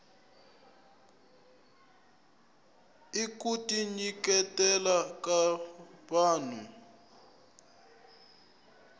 i kuti nyiketela ka vahnu